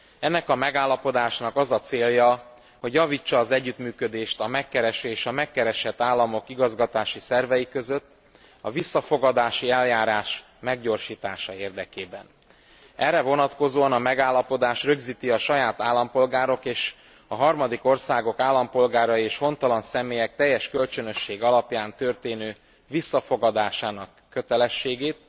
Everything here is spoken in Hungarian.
Ennek a megállapodásnak az a célja, hogy javítsa az együttműködést a megkereső és a megkeresett államok igazgatási szervei között, a visszafogadási eljárás meggyorsítása érdekében. Erre vonatkozóan a megállapodás rögzíti a saját állampolgárok és a harmadik országok állampolgárai és hontalan személyek teljes kölcsönösség alapján történő visszafogadásának kötelességét,